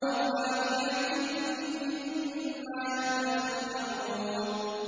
وَفَاكِهَةٍ مِّمَّا يَتَخَيَّرُونَ